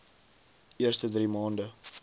eerste drie maande